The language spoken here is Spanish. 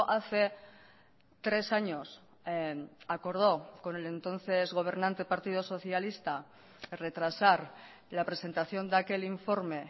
hace tres años acordó con el entonces gobernante partido socialista retrasar la presentación de aquel informe